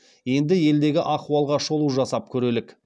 енді елдегі ахуалға шолу жасап көрелік